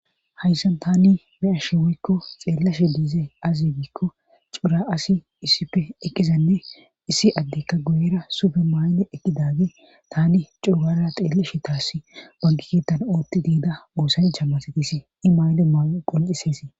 hayssan tani be'ashe woykko xeellashe diizey aze giikko cora asi issipfe eqqizanne issi addekka guyera sufe mayne eqqidage tani co gaada xeelleshe taassi banke ketan oottidida oosancha masetisi i mayido mayoyi qoncisesi